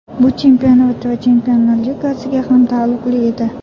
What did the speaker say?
Bu chempionat va Chempionlar Ligasiga ham taalluqli edi.